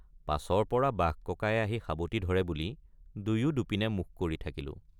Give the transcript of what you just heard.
পাছৰপৰা বাঘ ককায়ে আহি সাৱটি ধৰে বুলি দুয়ো দুপিনে মুখ কৰি থাকিলোঁ।